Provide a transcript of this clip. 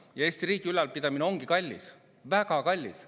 Ja Eesti riigi ülalpidamine ongi kallis, väga kallis.